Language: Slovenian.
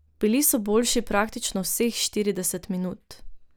Bili so boljši praktično vseh štirideset minut.